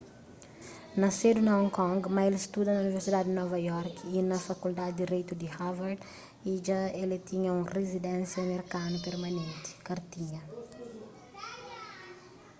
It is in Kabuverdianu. nasedu na hong kong ma el studa na universidadi di nova iorki y na fakuldadi di direitu di harvard y dja el tinha un rizidensia merkanu permanenti kartinha